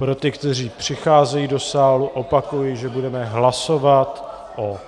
Pro ty, kteří přicházejí do sálu, opakuji, že budeme hlasovat o